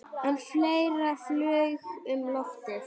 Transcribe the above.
En fleira flaug um loftið.